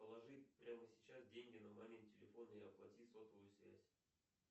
положи прямо сейчас деньги на мамин телефон и оплати сотовую связь